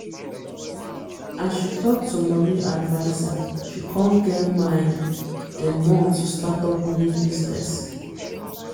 as she talk to money advisershe con get mind the more to startup new business